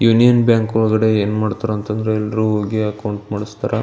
Union Bank ಒಳಗಡೆ ಏನ್ ಮಾಡ್ತಾರೆ ಅಂಥಾ ಅಂದ್ರೆ ಎಲ್ರು ಹೋಗಿ ಅಕೌಂಟ್ ಮಾಡಿಸ್ತಾರಾ.